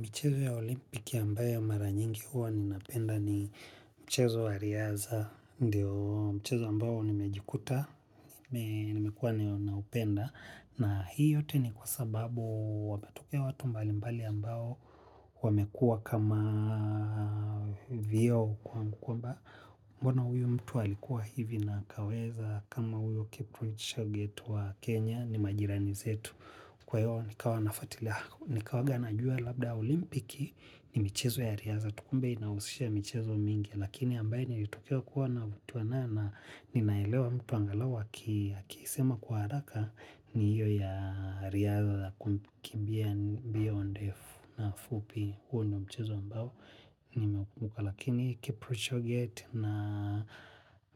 Mchezo ya olimpiki ambayo maranyingi hua ninapenda ni mchezo wa riaza, mchezo ambayo nimejikuta, nimekuwa na upenda. Na hii yote ni kwa sababu wametokea watu mbali mbali ambao wamekua kama vio kwa mkwamba mbona uyu mtu alikuwa hivi na akaweza kama uyu kiprichaa getu wa Kenya ni majirani zetu. Kwa hiyo nikawa nafuati lako, nikawa ga na jua labda olimpiki ni michezo ya riaza. Tu kumbe inahusisha michezo mingi, lakini ambaye nilitokewa kuwa na vutiwa nayo naninaelewa mtu angalau akisema kwa haraka ni hiyo ya riadha za kumbia beyond F na FUPI. Huo ni mchezo ambao nimeukumuka lakini Kipro Choget